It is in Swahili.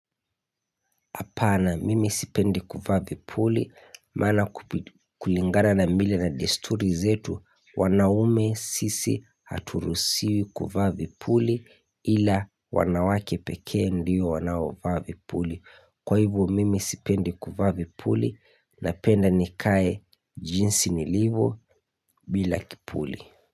Apana, mimi sipendi kuvaa vipuli maana kulingara na mila na desturi zetu wana ume sisi aturusiwi kuwa vipuli ila wanawake pekee ndio wanaovaa Kwa hivo mimi sipendi kuvaa vipuli na penda nikae jinsi ni livyo bila bila kipuli.